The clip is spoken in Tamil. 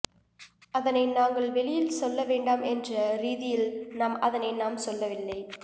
அதனை நாங்கள் வெளியில் சொல்ல வேண்டாம் என்ற ரீதியில் நாம் அதனை நாம் சொல்லவில்லை